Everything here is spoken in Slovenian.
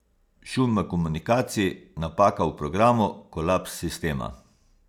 Šum v komunikaciji, napaka v programu, kolaps sistema.